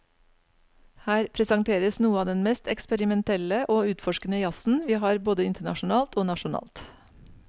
Her presenteres noe av den mest eksperimentelle og utforskende jazzen vi har både internasjonalt og nasjonalt.